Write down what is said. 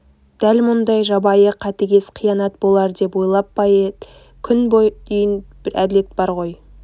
дәл мұндай жабайы қатыгез қиянат болар деп ойлап па күн бүгінге дейін бір әділет бар ғой